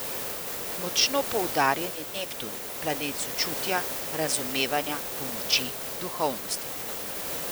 Močno poudarjen je Neptun, planet sočutja, razumevanja, pomoči, duhovnosti.